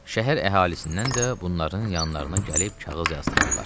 Şəhər əhalisindən də bunların yanlarına gəlib kağız yazdırarlar.